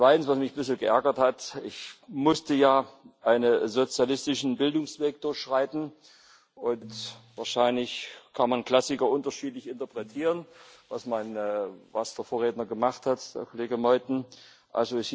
Zweitens, was mich etwas geärgert hat Ich musste ja einen sozialistischen Bildungsweg durchschreiten, und wahrscheinlich kann man Klassiker unterschiedlich interpretieren was der Vorredner, Kollege Meuthen, gemacht hat.